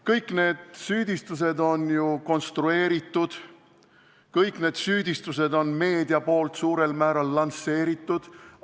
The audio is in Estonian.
Kõik need süüdistused on ju konstrueeritud, kõik need süüdistused on meedia suurel määral lansseerinud.